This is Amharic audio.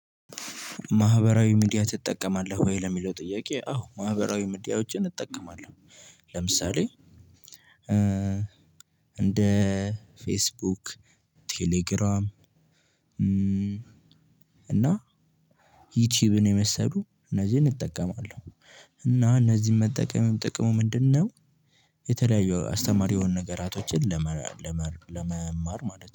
ማህበራዊ ሚዲያ ትጠቀማለህ ወይ ለሚለው ጥያቄ? አዎ ማህበራዊ ሚዲያወችን እጠቀማለሁ። ለምሳሌ እንደ ፌስቡክ ቴሌግራም እና ዩቲዩብን የመሰሉ እነዚህን እጠቀማለሁ። እና እነዚህን መጠቀምም ጥቅሙ ምንድነው? የተለያዩ አስተማሪ የሆኑ ነገሮችን ለመማር ማለት ነው